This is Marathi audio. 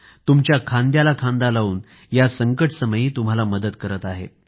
तुमच्या खांद्याला खांदा लाऊन या संकटसमयी तुम्हाला मदत करत आहेत